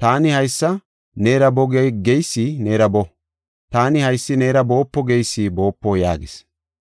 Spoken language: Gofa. Taani, ‘Haysi neera boo’ geysi neera boo; taani, ‘Haysi neera boopo’ geysi boopo” yaagis.